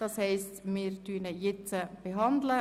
Das heisst, dass wir den Vorstoss jetzt behandeln.